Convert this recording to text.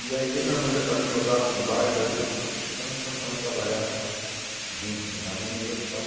E aí o meu irmão já estava entrosado com vários, aí hum então nós começamos a trabalhar junto e ganhávamos dinheiro e tal.